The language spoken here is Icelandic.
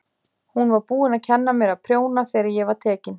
Hún var búin að kenna mér að prjóna þegar ég var tekin.